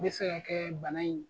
Be se ka kɛ bana in